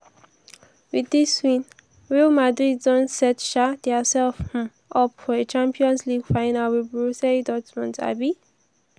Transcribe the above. wit dis win real madrid don set um diasef um up for a champions league final wit borussia dortmund. um